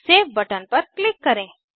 save button पर click करें